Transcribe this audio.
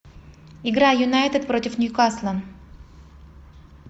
игра юнайтед против ньюкасла